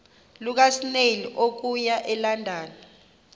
lukasnail okuya elondon